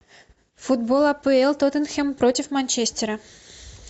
футбол апл тоттенхэм против манчестера